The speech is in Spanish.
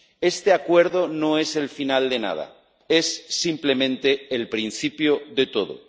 Este acuerdo no es el final de nada, es simplemente el principio de todo.